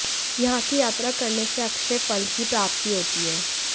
यहाँ की यात्रा करने से अक्षय फल की प्राप्ति होती है